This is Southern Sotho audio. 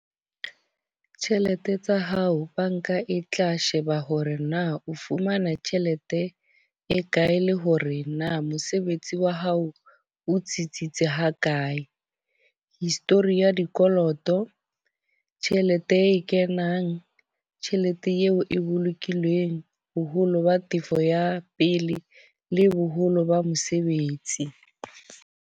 Tjhelete tsa hao banka e tla sheba hore na o fumana tjhelete e kae le hore na mosebetsi wa hao o tsitsitse ha kae. History ya dikoloto, tjhelete e kenang, tjhelete eo e bolokileng, boholo ba tefo ya pele le boholo ba mosebetsi.